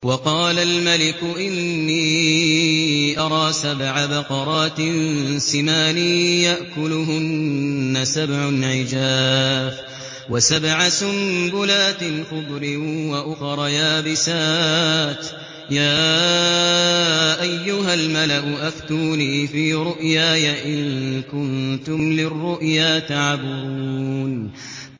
وَقَالَ الْمَلِكُ إِنِّي أَرَىٰ سَبْعَ بَقَرَاتٍ سِمَانٍ يَأْكُلُهُنَّ سَبْعٌ عِجَافٌ وَسَبْعَ سُنبُلَاتٍ خُضْرٍ وَأُخَرَ يَابِسَاتٍ ۖ يَا أَيُّهَا الْمَلَأُ أَفْتُونِي فِي رُؤْيَايَ إِن كُنتُمْ لِلرُّؤْيَا تَعْبُرُونَ